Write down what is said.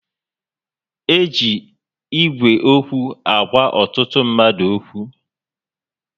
E ji Ígwè okwu agwa ọtụtụ ndị mmadụ okwu